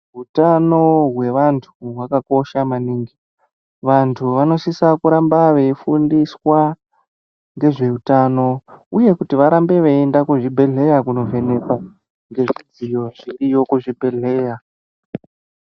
Utano hwevantu hwakakosha maningi. Vantu vanosisa kuramba veifundiswa ngezveutano uye kuti varambe veienda kuzvibhedhleya kunovhenekwa ngezvidziyo zvoriyo kuzvibhedhleya.